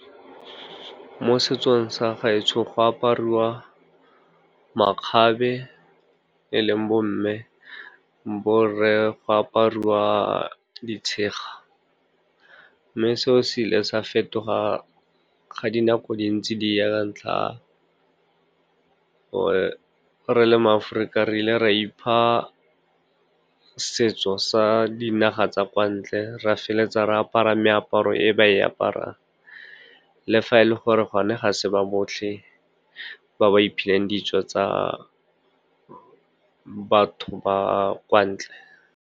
Mo setsong sa gaetsho, go apariwa makgabe e leng bo mme, bo rre go apariwa ditshega. Mme se o se ile sa fetoga ga di nako di ntse di ya, ka ntlha ke gore re le maAforika, re ile ra ipha setso sa dinaga tsa kwa ntle, ra feleletsa re apara meaparo e ba e aparang, le fa e le gore gone ga se ba botlhe ba ba iphileng ditso tsa batho ba kwa ntle.